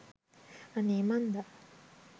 අනේ මන්දා